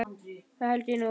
Það held ég nú.